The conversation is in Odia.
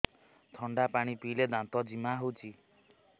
ଥଣ୍ଡା ପାଣି ପିଇଲେ ଦାନ୍ତ ଜିମା ହଉଚି